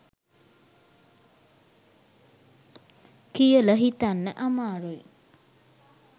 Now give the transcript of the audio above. කියල හිතන්න අමාරුයි